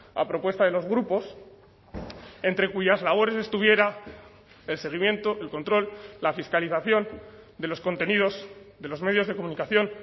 a propuesta de los grupos entre cuyas labores estuviera el seguimiento el control la fiscalización de los contenidos de los medios de comunicación